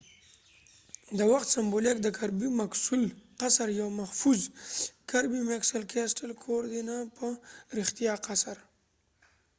د وخت سمبولیک د کربی مکسول قصر kirby muxole castle یو محفوظ کور دي نه په رښتیا قصر